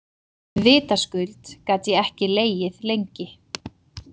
Vitaskuld gat ég ekki legið lengi.